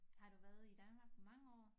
Har du været i Danmark mange år?